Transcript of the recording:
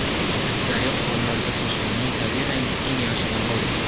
Aksariyat hollarda sochlarning tabiiy rangi eng yaxshi tanlovdir.